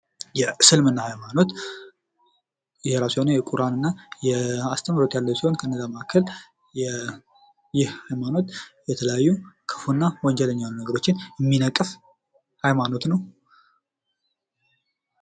የእስልምና ሃይማኖት የራሱ የሆነ የቁርአንና የአስተምህሮት ያለው ሲሆን ፤ ከነዛ መካከል የተለያዩ ክፉና ወንጀል የሆኑ ነገሮችን የሚነቅፍ ሃይማኖት ነው።